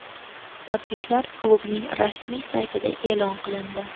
Tabriklar klubning rasmiy saytida e’lon qilindi .